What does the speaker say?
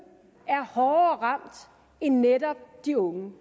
er hårdere ramt end netop de unge